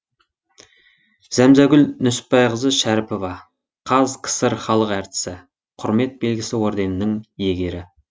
зәмзәгүл нүсіпбайқызы шәріпова қазкср халық әртісі құрмет белгісі орденінің иегері